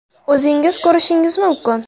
O‘zingiz ko‘rishingiz mumkin.